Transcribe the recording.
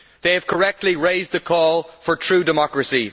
They have correctly raised the call for true democracy.